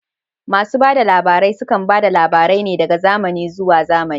Masu bada labarai sukan bada labarai ne daga zamani zuwa zamani